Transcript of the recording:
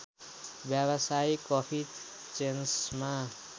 व्यावसायिक कफी चेन्समा